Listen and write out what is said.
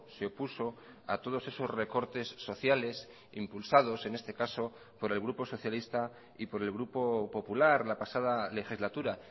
se opuso a todos esos recortes sociales impulsados en este caso por el grupo socialista y por el grupo popular la pasada legislatura